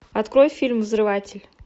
открой фильм взрыватель